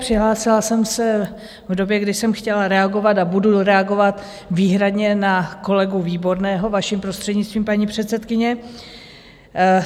Přihlásila jsem se v době, kdy jsem chtěla reagovat a budu reagovat výhradně na kolegu Výborného, vaším prostřednictvím, paní předsedkyně.